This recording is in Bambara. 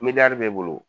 b'i bolo